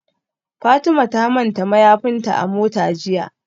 Fatima ta manta mayafinta a mota jiya